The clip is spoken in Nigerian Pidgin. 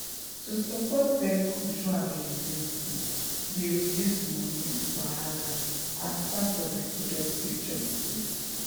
to support birth control availability dey reduce money wahala as part of reproductive justice.